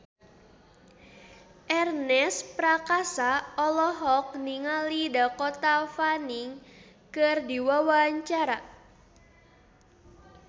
Ernest Prakasa olohok ningali Dakota Fanning keur diwawancara